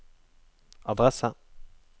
adresse